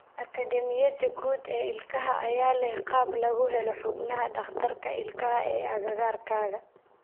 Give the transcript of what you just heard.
Akademiyada Guud ee Ilkaha ayaa leh qalab lagu helo xubnaha dhakhtarka ilkaha ee agagaarkaaga.